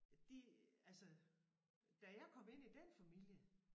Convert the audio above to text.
De altså da jeg kom ind i den familie